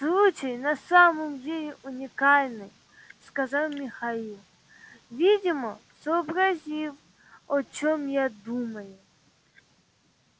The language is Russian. случай на самом деле уникальный сказал михаил видимо сообразив о чём я думаю